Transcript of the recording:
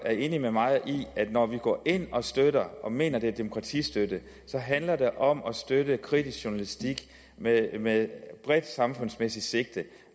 enig med mig i at når vi går ind og støtter og mener at det er demokratistøtte så handler det om at støtte kritisk journalistik med med bredt samfundsmæssigt sigte